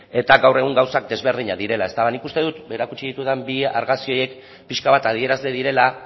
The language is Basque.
eta gaur egun gauzak desberdinak direla nik uste dut erakutsi ditudan bi argazki horiek pixka bat adierazle direla